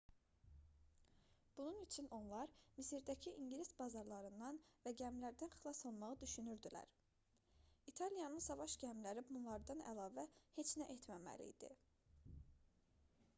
bunun üçün onlar misirdəki i̇ngilis bazalarından və gəmilərdən xilas olmağı düşünürdülər. i̇taliyanın savaş gəmiləri bunlardan əlavə heç nə etməməli idi